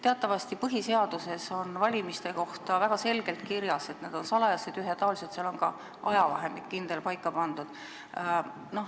Teatavasti on põhiseaduses valimiste kohta väga selgelt kirjas, et need on salajased ja ühetaolised, seal on ka kindel ajavahemik paika pandud.